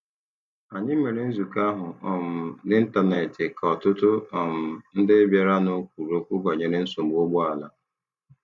Anyị mere nzukọ ahụ um n'Ịntanet ka ọtụtụ um ndị bịaranụ kwuru okwu banyere nsogbu ụgbọala.